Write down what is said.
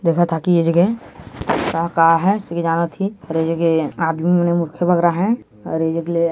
देखा था की ये जगह का का है श्री राम थी और ये जगह आदमी मने मुखे बगरा है अउ ए जग ले --